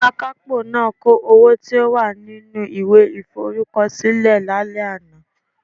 Akapo naa ka owo to wa ninu iwe iforukosile lale ana